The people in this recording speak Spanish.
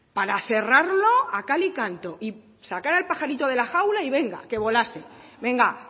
para cerrarlo a cal y canto y sacar al pajarito de la jaula y venga que volase venga